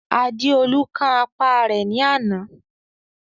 Adéolú kán apá rẹ̀ ní àná.